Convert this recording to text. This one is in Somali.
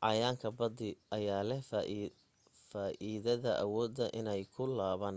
cayayaanka badi ayaa leh faa'idada awooda inay ku laaban